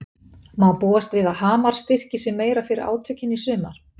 Má búast við að Hamar styrki sig meira fyrir átökin í sumar?